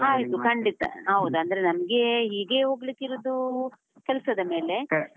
ಆಯ್ತು ಖಂಡಿತಾ, ಹೌದು ಅಂದ್ರೆ ನಮ್ಗೆ ಹೀಗೆಯೆ ಹೋಗ್ಲಿಕ್ಕೆ ಇರುದು ಕೆಲಸದ ಮೇಲೆ.